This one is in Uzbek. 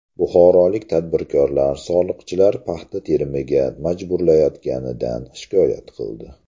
Buxorolik tadbirkorlar soliqchilar paxta terimiga majburlayotganidan shikoyat qildi.